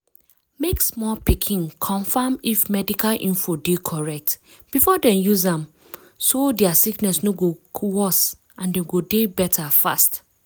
mek small pikin confam if medical info de correct before dem use am so dia sickness no go worse and dem go dey better fast.